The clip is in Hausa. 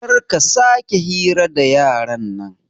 Karka sake hira da yaran nan